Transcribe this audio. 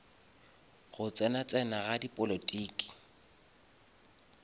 go tsena tsena ga dipolotiki